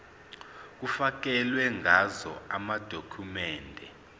kufakelwe ngazo amadokhumende